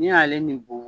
N'i y'ale nin bɔn